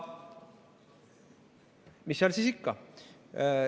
Mis seal siis ikka.